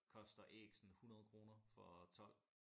Koster æg sådan 100 kroner for 12